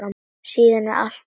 Síðan er allt til reiðu.